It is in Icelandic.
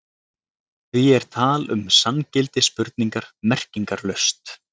Því er tal um sanngildi spurningar merkingarlaust.